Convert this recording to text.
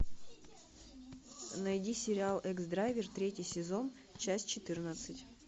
найди сериал экс драйвер третий сезон часть четырнадцать